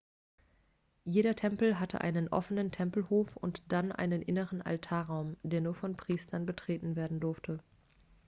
jeder tempel hatte einen offenen tempelhof und dann einen inneren altarraum der nur von priestern betreten werden durfte